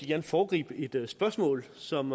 gerne foregribe et spørgsmål som